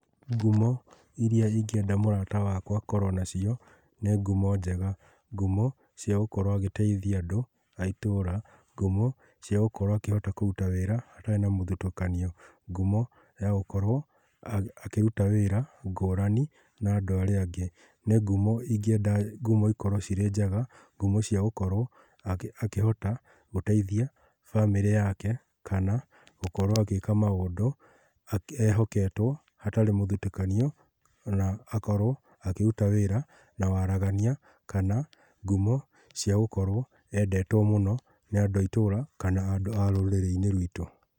Ngumo iria ingĩenda mũrata wakwa akorwo nacio nĩ ngumo njega. Ngumo cia gũkorwo agĩteithia andũ a itũũra, ngumo cia gũkorwo akĩhota kũruta wĩra atarĩ na mũthutũkanio. Ngumo ya gũkorwo akĩruta wĩra ngũrani na andũ arĩa angĩ. Nĩ ngumo ingĩenda ngumo ikorwo ciri njega, ngumo cia gũkorwo akĩhota gũteithia bamĩrĩ yake kana gũkorwo agĩka maũndũ ehoketwo hatarĩ mũthutũkanio na akorwo akĩruta wĩra na waragania kana ngumo cia gũkorwo endetwo mũno nĩ andũ a itũũra kana andũ a rũrĩrĩ-inĩ rwitũ.